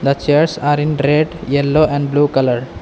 The chairs are in red yellow and blue colour.